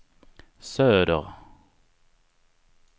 söder